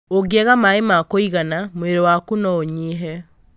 Ũngĩaga maĩ ma kũigana, mwĩrĩ waku no ũnyihe.